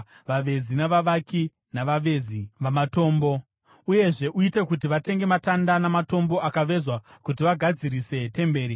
vavezi, navavaki navavezi vamatombo. Uyezve uite kuti vatenge matanda namatombo akavezwa kuti vagadzirise temberi.